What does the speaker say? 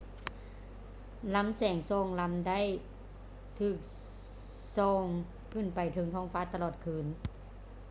ລໍາແສງສອງລໍາໄດ້ຖືກສ່ອງຂຶ້ນໄປເທິງທ້ອງຟ້າຕະຫຼອດຄືນ